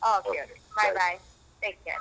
ಹಾ okay okay take care .